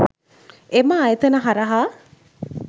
එම ආයතන හරහා